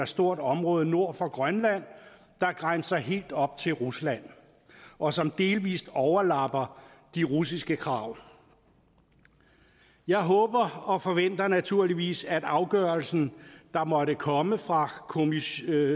stort område nord for grønland der grænser helt op til rusland og som delvis overlapper de russiske krav jeg håber og forventer naturligvis at afgørelsen der måtte komme fra kommissionen